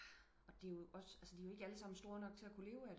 Og det er jo også de er jo ikke alle sammen store nok til at kunne leve af det